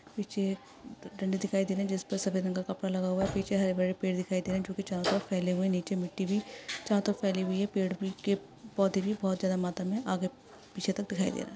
पीछे डंडे दिखाई रहे है जिसपे सफेद रंग का कपड़ा लगा हुआ है पीछे हरे भरे पेड़ दिखाई दे रहे है जो की चारों तरफ फेले हुए नीचे मिट्टी भी चारों तरफ फेली हुई है पेड़ के पौधे भी बहुत ज्यादा मात्रा मे है आगे पीछे तक दिखाई--